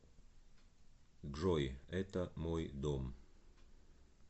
джой это мой дом